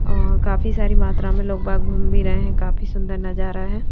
और काफी सारी मात्रा में लोग बाग घूम भी रहे हैं काफी सुंदर नजारा है।